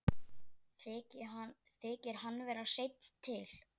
Þykir hann vera seinn til.